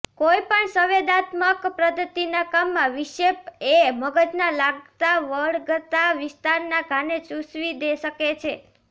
કોઈપણ સંવેદનાત્મક પદ્ધતિના કામમાં વિક્ષેપ એ મગજના લાગતાવળગતા વિસ્તારના ઘાને સૂચવી શકે છે